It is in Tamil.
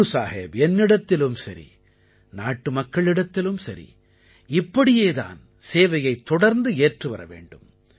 குருசாஹிப் என்னிடத்திலும் சரி நாட்டுமக்களிடத்திலும் சரி இப்படியேதான் சேவையைத் தொடர்ந்து ஏற்றுவர வேண்டும்